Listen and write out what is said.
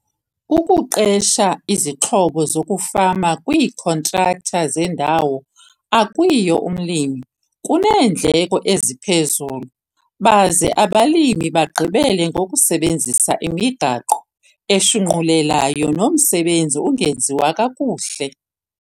Ukuqesha izixhobo zokufama kwiikhontraktha zendawo akuyiyo umlimi kuneendleko eziphezulu baze abalimi bagqibele ngokusebenzisa imigaqo eshunqulelayo nomsebenzi ungenziwa kakuhle.